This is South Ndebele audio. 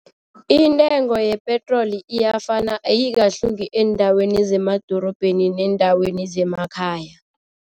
Intengo yepetroli iyafana ayikahluki eendaweni zemadorobheni neendaweni zemakhaya.